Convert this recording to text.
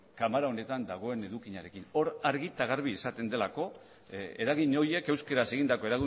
ganbara honetan dagoen edukiarekin hor argi eta garbi izaten delako eragin horiek euskaraz egindako